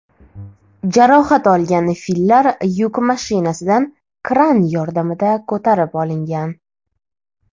Jarohat olgan fillar yuk mashinasidan kran yordamida ko‘tarib olingan.